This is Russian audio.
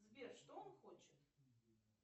сбер что он хочет